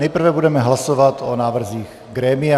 Nejprve budeme hlasovat o návrzích grémia.